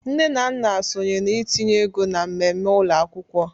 Nne na nna sonye na ntinye ego na mmemme ụlọ akwụkwọ.